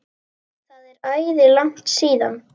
LÁRUS: Nei!